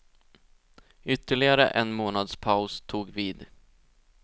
Ytterligare en månads paus tog vid.